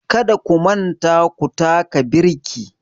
Kada ku manta ku taka birki